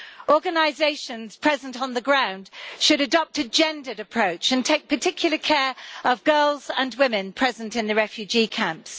Organisations present on the ground should adopt a gendered approach and take particular care of girls and women present in the refugee camps.